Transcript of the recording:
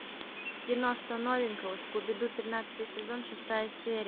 кино что новенького скуби ду тринадцатый сезон шестая серия